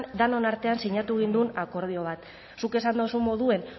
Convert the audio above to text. denon artean sinatu gindun akordio bat zuk esan dozun moduen